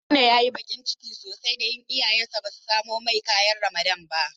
Haruna ya yi bakin ciki sosai don iyayensa ba su samo masa ƙayan Ramadan ba.